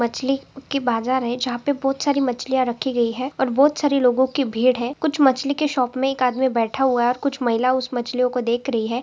मछली उसकी बाजार है जहाँ पर बहुत सारी मछलीया रखी गई है और बहुत सारे लोगों की भीड़ है कुछ मछली की शॉप में एक आदमी बैठा हुआ है कुछ महिलाये उस मछलियों को देख रही है।